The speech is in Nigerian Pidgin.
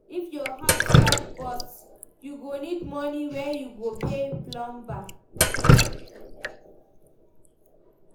If your house pipe burst, you go need moni wey you go pay plumber.